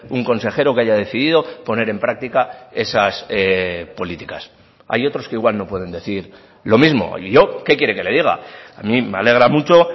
un consejero que haya decidido poner en práctica esas políticas hay otros que igual no pueden decir lo mismo y yo qué quiere que le diga a mí me alegra mucho